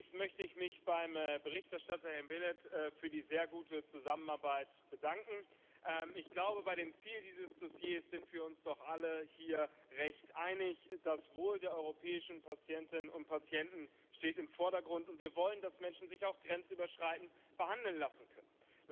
Zunächst möchte ich mich beim Berichterstatter Ivo Belet für die sehr gute Zusammenarbeit bedanken. Ich glaube, bei dem Ziel dieses Dossiers sind wir uns doch alle hier recht einig Das Wohl der europäischen Patientinnen und Patienten steht im Vordergrund, und wir wollen, dass Menschen sich auch grenzüberschreitend behandeln lassen können.